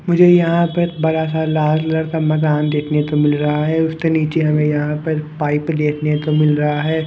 मुझे यहां पर बड़ा सा लाल कलर का मकान देखने को मिल रहा है उसके नीचे हमें यहां पर पाइप देखने को मिल रहा है।